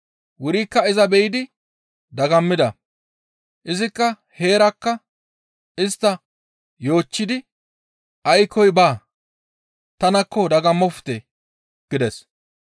Wurikka iza be7idi dagammida; izikka heerakka istta yoochchidi, «Aykkoy baa; tanakko dagammofte!» gides.